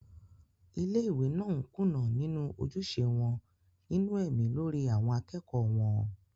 ilé ìwé náà ń kùnà nínú ojúṣe wọn nínú ẹ̀mí lórí àwọn akẹ́kọ̀ọ́ wọn